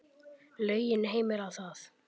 Lögin heimila það.